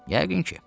Yəqin ki.